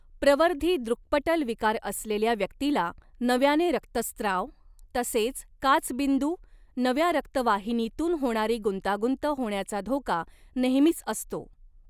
प्रवर्धी दृक्पटल विकार असलेल्या व्यक्तीला नव्याने रक्तस्त्राव, तसेच काचबिंदू, नव्या रक्तवाहिनीतून होणारी गुंतागुंत होण्याचा धोका नेहमीच असतो.